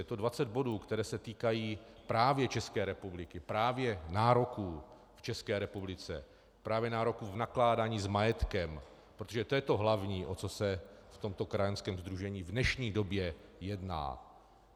Je to 20 bodů, které se týkají právě České republiky, právě nároků v České republice, právě nároků v nakládání s majetkem, protože to je to hlavní, o co se v tomto krajanském sdružení v dnešní době jedná.